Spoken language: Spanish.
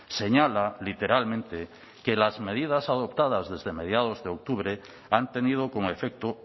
señala literalmente que las medidas adoptadas desde mediados de octubre han tenido como efecto